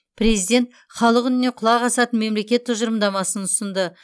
президент халық үніне құлақ асатын мемлекет тұжырымдамасын ұсынды